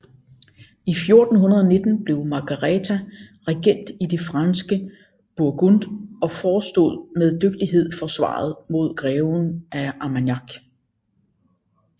I 1419 blev Margareta regent i det franske Burgund og forestod med dygtighed forsvaret mod greven af Armagnac